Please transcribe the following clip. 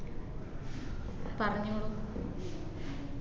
പറഞ്ഞോളൂ